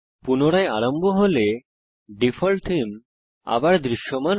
পুনরায় আরম্ভ হলে ডিফল্ট থীম আবার দৃশ্যমান হয়